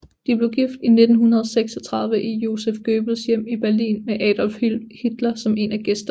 De blev gift i 1936 i Joseph Goebbels hjem i Berlin med Adolf Hitler som en af gæsterne